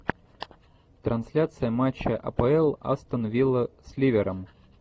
трансляция матча апл астон вилла с ливером